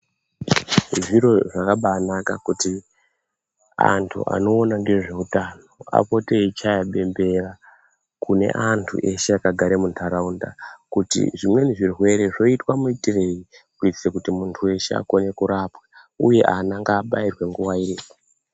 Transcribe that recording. Zviro zvakabaanaka kuti antu anoona ngezveutano apote eichaya bembera kune antu eshe akagare mundaraunda kuti zvimweni zvirwere zvoitwa muitirei kuitire kuti muntu weshe akone kurapwa uye ana ngaabairwe nguwa iripo .